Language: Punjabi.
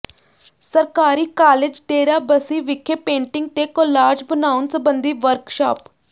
ਸਰਕਾਰੀ ਕਾਲਜ ਡੇਰਾਬੱਸੀ ਵਿਖੇ ਪੇਂਟਿੰਗ ਤੇ ਕੌਲਾਜ ਬਣਾਉਣ ਸਬੰਧੀ ਵਰਕਸ਼ਾਪ